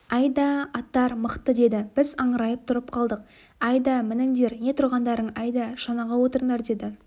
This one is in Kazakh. әйдә аттар мықты деді біз аңырайып тұрып қалдық әйдә мініңдер не тұрғандарың әйдә шанаға отырыңдар деді